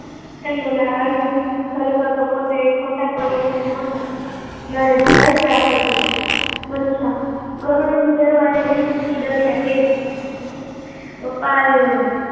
ખરેખર તે ખોટા પડ્યા નો હતો, નારે કઈ બાબત થી, મનીષા, ગરોળી થી ડરવાની રીત થી ડર્યા પપ્પ એ